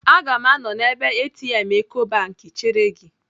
Aga m anọ n'ebe ATM Ecobank chere gị.